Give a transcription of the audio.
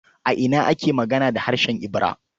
A ina ake magana da harshen Ibira?